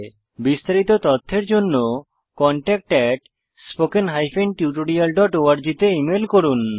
বিস্তারিত তথ্যের জন্য contactspoken tutorialorg তে ইমেল করুন